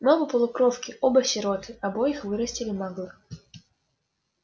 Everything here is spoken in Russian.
мы оба полукровки оба сироты обоих вырастили маглы